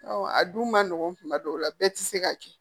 a dun ma nɔgɔn kuma dɔw la bɛɛ ti se ka kɛ